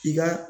I ka